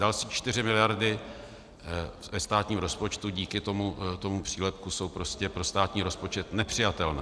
Další čtyři miliardy ve státním rozpočtu díky tomu přílepku jsou prostě pro státní rozpočet nepřijatelné.